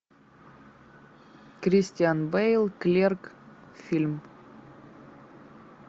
кристиан бэйл клерк фильм